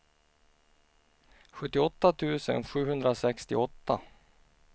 sjuttioåtta tusen sjuhundrasextioåtta